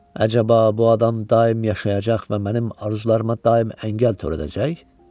Əcaba, bu adam daim yaşayacaq və mənim arzularıma daim əngəl törədəcək?